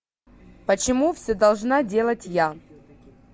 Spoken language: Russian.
почему все должна делать я